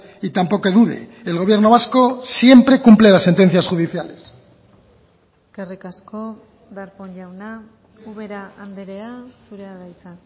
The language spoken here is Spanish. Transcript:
y tampoco dude el gobierno vasco siempre cumple las sentencias judiciales eskerrik asko darpón jauna ubera andrea zurea da hitza